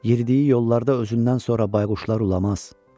Yeridiyi yollarda özündən sonra bayquşlar ulamaz.